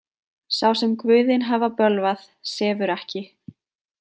Sá sem guðin hafa bölvað sefur ekki.